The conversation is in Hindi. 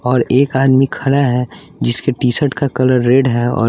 और एक आदमी खड़ा है जिसके टी शर्ट का कलर रेड है और--